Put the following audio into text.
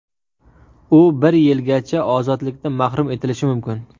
U bir yilgacha ozodlikdan mahrum etilishi mumkin.